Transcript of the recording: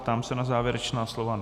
Ptám se na závěrečná slova.